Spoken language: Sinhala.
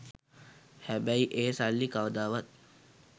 හැබැයි ඒ සල්ලි කවදාවත්